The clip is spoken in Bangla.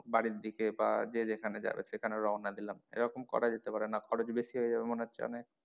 বাড়ির দিকে বা যে যেখানে যাবে সেখানে রওনা দিলাম এরকম করা যেতে পারে না খরচ বেশি হয়ে যাবে মনে হচ্ছে অনেক?